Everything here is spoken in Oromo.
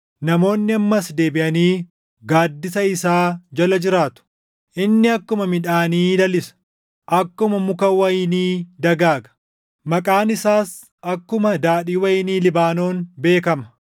Namoonni ammas deebiʼanii gaaddisa isaa jala jiraatu. Inni akkuma midhaanii lalisa. Akkuma muka wayinii dagaaga; maqaan isaas akkuma daadhii wayinii Libaanoon beekama.